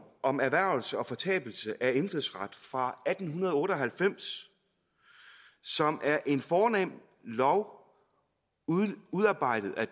om erhvervelse og fortabelse af indfødsret fra atten otte og halvfems som er en fornem lov udarbejdet af